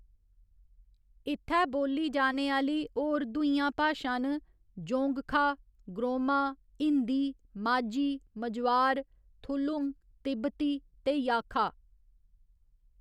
इत्थै बोल्ली जाने आह्‌ली होर दूइयां भाशां न जोंगखा, ग्रोमा, हिंदी, माझी, मझवार, थुलुंग, तिब्बती ते याखा।